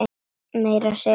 Meira að segja oft frost!